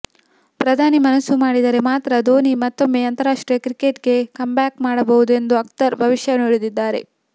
ಪ್ರಧಾನಿ ಮನಸು ಮಾಡಿದರೆ ಮಾತ್ರ ಧೋನಿ ಮತ್ತೊಮ್ಮೆ ಅಂತಾರಾಷ್ಟ್ರೀಯ ಕ್ರಿಕೆಟ್ಗೆ ಕಮ್ಬ್ಯಾಕ್ ಮಾಡಬಹುದು ಎಂದು ಅಖ್ತರ್ ಭವಿಷ್ಯ ನುಡಿದಿದ್ದಾರೆ